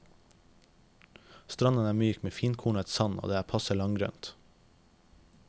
Stranden er myk med finkornet sand og det er passe langgrunt.